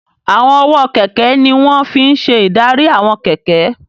Àwọn ọwọ́ kẹ̀kẹ́ ní wọ́n fi n ṣe ìdarí àwọn kẹ̀kẹ́